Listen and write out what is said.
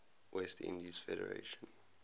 west indies federation